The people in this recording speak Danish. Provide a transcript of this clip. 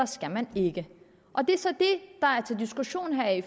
skal man ikke det er så det der er til diskussion her i